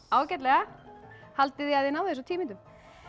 ágætlega haldið þið að þið náið þessu á tíu mínútum